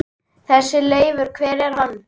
Þessi Leifur. hver er hann?